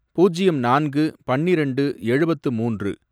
பூஜ்யம் நான்கு, பன்னிரெண்டு, எழுபத்து மூன்று